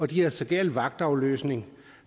de havde så galt vagtafløsning